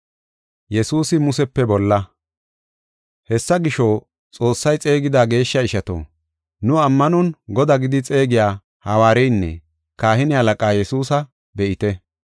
Hessa gisho, Xoossay xeegida geeshsha ishato, nu ammanon Godaa gidi xeegiya hawaariyanne kahine halaqaa Yesuusa be7ite.